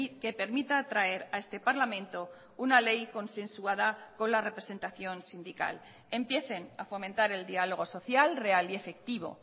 que permita traer a este parlamento una ley consensuada con la representación sindical empiecen a fomentar el diálogo social real y efectivo